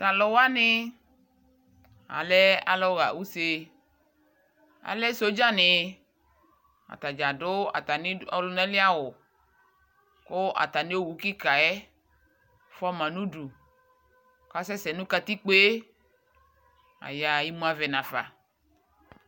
Tʋ alʋ wani alɛ alʋ ɣa use Alɛ sɔdza ni Atadza adʋ atami ɔlʋna li awʋ kʋ atami owu kika yɛ fua ma nʋ du kʋ asɛsɛ nʋ kaikpo e Ayaɣa, imʋ avɛ n'afa